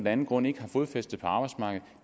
anden grund ikke har fodfæste på arbejdsmarkedet